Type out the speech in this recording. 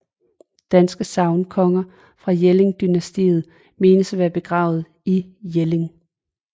Danske sagnkonger fra Jelling dynastiet menes at være begravet i Jelling